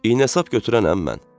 İynə-sap gətirənəm mən.